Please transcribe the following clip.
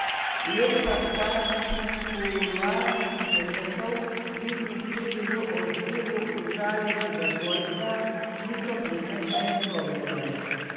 Leta partikularnih interesov, vidnih tudi v odzivu užaljenega dvojca, niso prinesla nič dobrega.